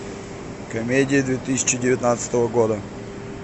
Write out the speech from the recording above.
комедия две тысячи девятнадцатого года